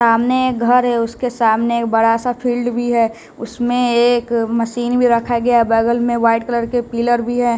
सामने घर है उसके सामने एक बड़ा सा फील्ड भी है उसमें एक मशीन भी रखा गया बगल में व्हाइट कलर के पिलर भी है।